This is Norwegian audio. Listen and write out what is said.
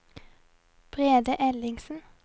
Brede Ellingsen